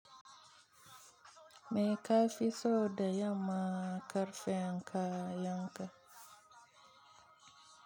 Me ka fi so da yamma, karfe yanka, a yanka?